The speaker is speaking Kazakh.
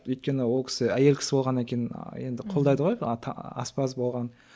өйткені ол кісі әйел кісі болғаннан кейін енді қолдайды ғой аспаз болған